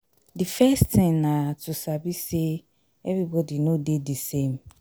the first thing na to sabi sey everybody no dey di same